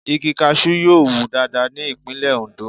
Igi Kaṣú yóò wù dáadáa ní ìpínlè Ondo.